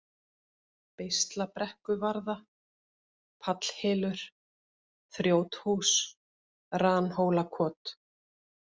Beislabrekkuvarða, Pallhylur, Þrjóthús, Ranhólakot